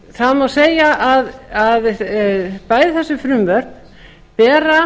það má segja að bæði þessi frumvörp bera